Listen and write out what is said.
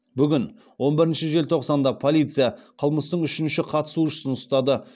бүгін он бірінші желтоқсанда полиция қылмыстың үшінші қатысушысын ұстады